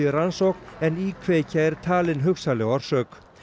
rannsókn en íkveikja er talin hugsanleg orsök